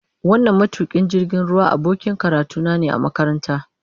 Wannan matukin jirgin ruwa abokin karatuna ne a makaranta.